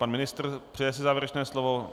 Pan ministr, přeje si závěrečné slovo?